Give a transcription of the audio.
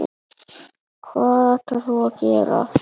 Hvað ætlarðu að gera núna?